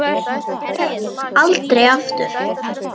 Nei, aldrei aftur.